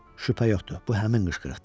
Şübhə yoxdur, bu həmin qışqırıqdır.